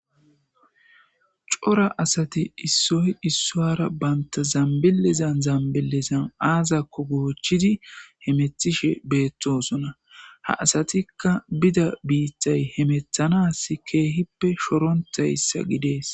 cora asati issoy issowara baynta zambilizan zambilizan aazakko goochidi hemethishe beettosona ha asatikka bida biittay hemethanas keehippe shorontayssa gidees